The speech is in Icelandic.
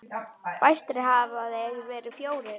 Fæstir hafa þeir verið fjórir.